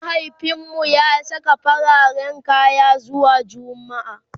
mahaifinmu ya Saka fararen kaya zuwa jumma'a